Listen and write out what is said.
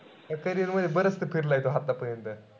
तुझ्या carrier मध्ये बरचस फिरलाय तू आतापर्यंत.